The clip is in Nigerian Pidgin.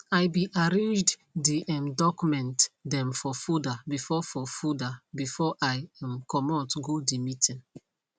i be arranged de um doucment dem for folder before for folder before i um comot go de meeting